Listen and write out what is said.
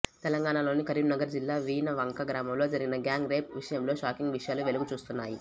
తెలంగాణలోని కరీంనగర్ జిల్లా వీణవంక గ్రామంలో జరిగిన గ్యాంగ్ రేప్ విషయంలో షాకింగ్ విషయాలు వెలుగు చూస్తున్నాయి